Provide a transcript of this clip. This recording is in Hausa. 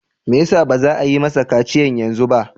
Me yasa baza a yi masa kaciyan yanzu ba?